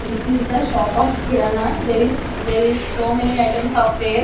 this is the shop of kirana there is there is so many items of there.